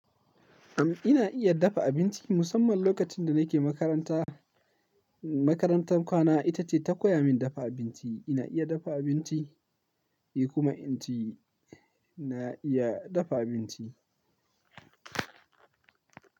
Eh, ina iya dafa abinci. Musamman lokacin da nake makaranta, makarantan kwana ita ce ta koya min dafa abinci. Ina iya dafa abinci, inyi kuma inci, ina iya dafa abinci.